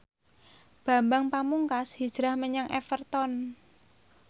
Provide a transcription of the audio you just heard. Bambang Pamungkas hijrah menyang Everton